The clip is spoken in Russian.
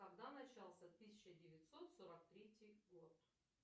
когда начался тысяча девятьсот сорок третий год